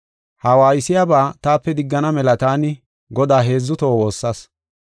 Ha waaysiyaba taape diggana mela taani Godaa heedzu toho woossas.